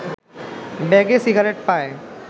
ব্যাগে সিগারেট পায়